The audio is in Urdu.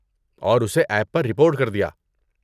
اور اسے ایپ پر رپورٹ کر دیا۔